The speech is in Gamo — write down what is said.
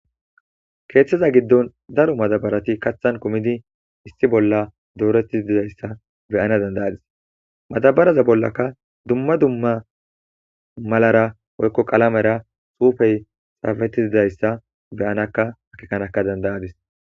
Keeththeza giddon daro matabarati kathan kumidi issi bolla dooretiidayssa beyana dandayadis matabaraza bollaka dumma dumma malara woykko qalamera suufey saafetizidayssa beyanaka hakikanaka dandayadis.